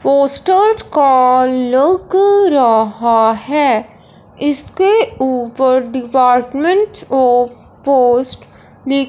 poster का लग रहा है इसके ऊपर डिपार्मेंट आफ पोस्ट लिख--